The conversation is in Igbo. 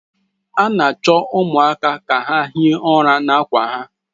A na-achọ ụmụaka ka ha hie ụra na akwa ha.